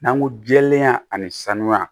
N'an ko jɛlenya ani sanuya